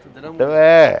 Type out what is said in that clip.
Tudo era muito? É